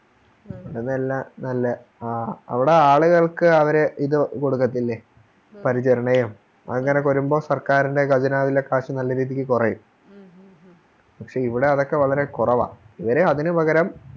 അങ്ങനെയുള്ള നല്ല ആ അവിടെ ആളുകൾക്ക് ഇത് കൊടുക്കത്തില്ലേ പരിചരണോം അതുപോലെയൊക്കെ വരുമ്പോ സർക്കാരിൻറെ ഖജനാവിലെ കാശ് നല്ല രീതിക്ക് കുറയും പക്ഷെ ഇവിടെ അതൊക്കെ വളരെ കുറവാ